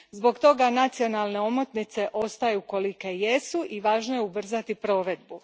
Zbog toga nacionalne omotnice ostaju kolike jesu i važno je ubrzati provedbu.